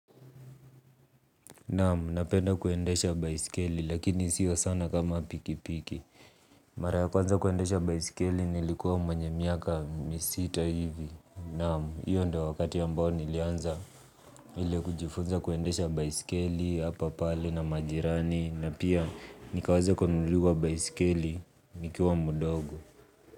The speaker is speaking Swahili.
Naam, napenda kuendesha baiskeli, lakini sio sana kama pikipiki. Mara ya kwanza kuendesha baiskeli, nilikuwa mwenye miaka misita hivi. Naam, hio ndio wakati ambao nilianza ile kujifunza kuendesha baisikeli, hapa pale na majirani, na pia nikaweza kununuliwa baiskeli, nikiwa mdogo.